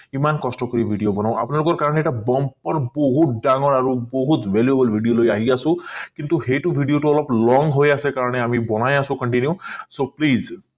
কিমান কষ্ট কৰি video বনাও আপোনালোকৰ কাৰণে এটা বহুত ডাঙৰ আৰু বহুত valuable video লৈ আহি আছো কিন্তু সেইটো video টো অলপ long হৈ আছে কাৰণে আমি বনাই আছো continue so plese